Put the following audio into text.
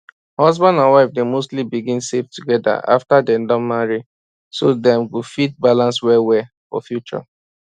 husband and wife dey mostly begin save together after dem marry so dem go fit balance well well for future